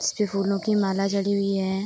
इसपे फूलो की माला जड़ी हुई है।